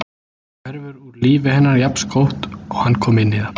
Hverfur úr lífi hennar jafnskjótt og hann kom inn í það.